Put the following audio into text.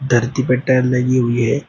धरती पे टाइल लगी हुई है।